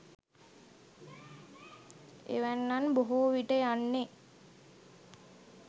එවැන්නන් බොහෝවිට යන්නේ